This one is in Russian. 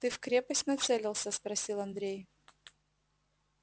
ты в крепость нацелился спросил андрей